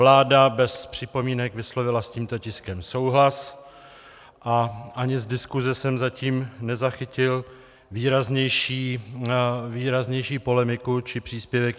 Vláda bez připomínek vyslovila s tímto tiskem souhlas a ani z diskuse jsem zatím nezachytil výraznější polemiku či příspěvek.